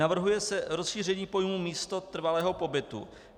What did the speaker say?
Navrhuje se rozšíření pojmu místo trvalého pobytu.